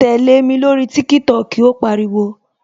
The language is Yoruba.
Tẹlẹ mi lórí TikTok "ó pariwo